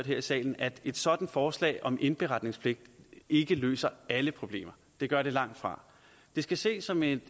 her i salen at et sådant forslag om indberetningspligt ikke løser alle problemer det gør det langtfra det skal ses som et